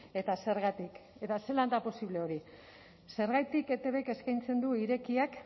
eta zergatik eta zelan da posible hori zergatik etbk eskaintzen du irekiak